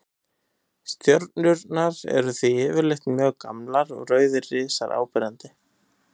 Stjörnurnar eru því yfirleitt mjög gamlar og rauðir risar áberandi.